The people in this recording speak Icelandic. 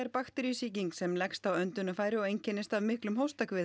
bakteríusýking sem leggst á öndunarfæri og einkennist af miklum